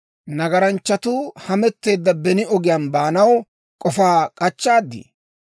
«Nagaranchchatuu hametteedda beni ogiyaan baanaw k'ofaa k'achchaadii?